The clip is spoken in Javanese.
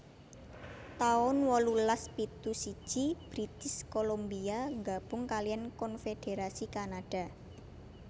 taun wolulas pitu siji British Columbia nggabung kaliyan konfédherasi Kanada